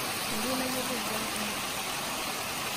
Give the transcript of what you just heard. Mayieu nayiolou mbaa kumok.